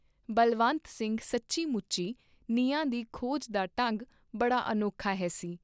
ਬਲਵੰਤ ਸਿੰਘ ਸੱਚੀ ਮੁਚੀ ਨਿਆਂ ਦੀ ਖੋਜ ਦਾ ਢੰਗ ਬੜਾ ਅਨੋਖਾ ਹੈਸੀ